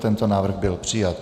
Tento návrh byl přijat.